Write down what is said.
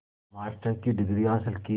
master की degree हासिल की